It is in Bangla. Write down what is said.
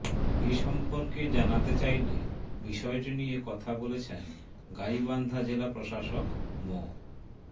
এ সম্পর্কে জানাতে চাইলে বিষয়টি নিয়ে কথা বলেছেন গাইবান্ধা জেলা প্রশাসক মো